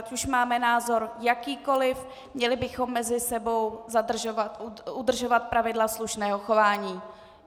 Ať už máme názor jakýkoliv, měli bychom mezi sebou udržovat pravidla slušného chování.